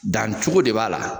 Dan cogo de b'a la.